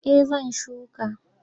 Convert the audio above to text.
Eh zan shuka.